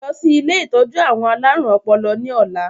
Lọ sí ilé ìtọ́jú àwọn alárùn ọpọlọ ni ọ̀la!